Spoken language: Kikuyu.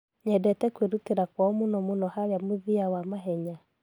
Nyedete kwĩrutira kwao mũno mũno harĩa mũthia wa mahenya.